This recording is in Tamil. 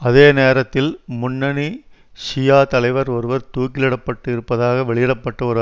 அதே நேரத்தில் முன்னணி ஷியா தலைவர் ஒருவர் தூக்கிலிடப்பட இருப்பதாக வெளியிட பட்ட ஒரு